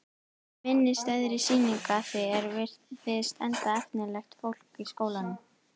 Minnisstæðri sýningu að því er virðist, enda efnilegt fólk í skólanum.